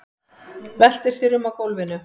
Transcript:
Veltir sér um á gólfinu.